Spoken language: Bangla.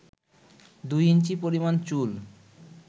২ ইঞ্চি পরিমাণ চুল